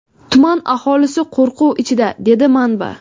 Tuman aholisi qo‘rquv ichida, dedi manba.